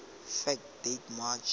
fact date march